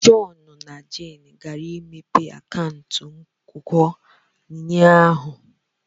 John na Jane gara imepe akaụntụ nkwonkwo ụnyahụ.